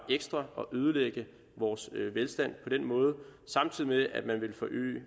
ekstra og ødelægge vores velstand på den måde samtidig med at man vil forøge